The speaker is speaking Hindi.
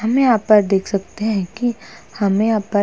हमें यहा पर देख सकते हैं कि हमें यहा पर --